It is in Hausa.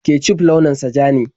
Kecuf launin sa ja ne.